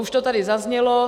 Už to tady zaznělo.